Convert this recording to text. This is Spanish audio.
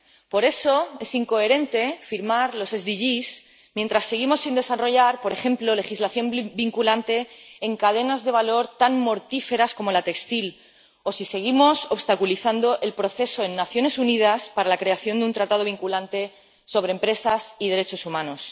Por eso, es incoherente firmar los Objetivos de Desarrollo Sostenible mientras seguimos sin desarrollar, por ejemplo, legislación vinculante en cadenas de valor tan mortíferas como la textil, o si seguimos obstaculizando en las Naciones Unidas el proceso para la creación de un tratado vinculante sobre empresas y derechos humanos.